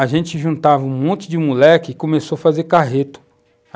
A gente juntava um monte de moleque e começou a fazer carreto.